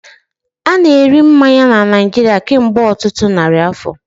A na-eri mmanya na Naijiria kemgbe ọtụtụ narị afọ